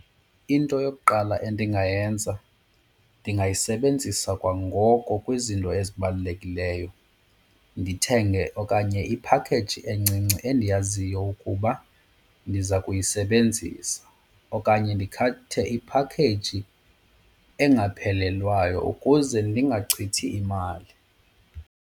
Into yokuqala endingayenza ndingayisebenzisa kwangoko kwizinto ezibalulekileyo ndithenge okanye iphakheyiji encinci endiyaziyo ukuba ndiza kuyisebenzisa. Okanye ndikhethe iphakheyiji engaphelelwayo ukuze ndingachithi imali.